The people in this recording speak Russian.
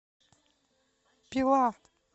пила